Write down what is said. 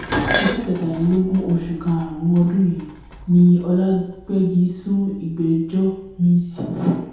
ọjọ kẹtàdínlọgbọn oṣù karùnún ọdún yìí ni ọlàgbégi sún ìgbẹjọ miín sí